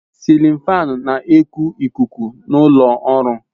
Sịlin fáan na eku ikuku n'ulo ọrụ